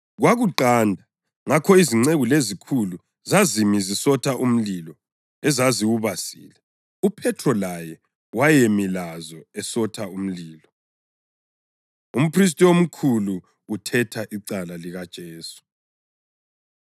Kwakuqanda, ngakho izinceku lezikhulu zazimi zisotha umlilo ezaziwubasile. UPhethro laye wayemi lazo esotha umlilo. Umphristi Omkhulu Uthetha Icala LikaJesu